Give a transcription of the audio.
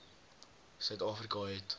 suid afrika het